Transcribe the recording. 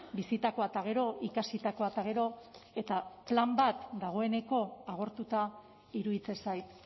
bizitakoa eta gero ikasitakoa eta gero eta plan bat dagoeneko agortuta iruditzen zait